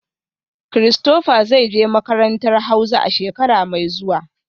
Christopher zai je makarantar hauza a shekara mai zuwa